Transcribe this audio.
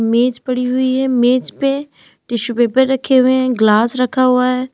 मेज पड़ी हुई है। मेज पे टिशू पेपर रखे हुए हैं ग्लास रखा हुआ है।